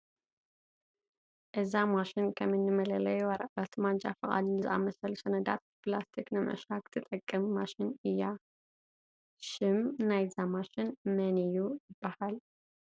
እዛ ማሽን ከም እኒ መለለዪ ወረቐት፣ ማንጃ ፍቓድ ንዝኣምሰሉ ሰነዳት ብፕላስቲ ንምዕሻግ ትጠቅም ማሽን እያ፡፡ ሽም ናይዛ ማሽን መን እዩ ይበሃል?